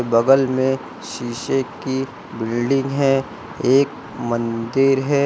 बगल में शीशे की बिल्डिंग है एक मंदिर है।